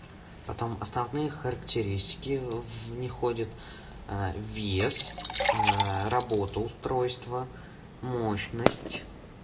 потом островные характеристики в них входят вес работа устройства мощность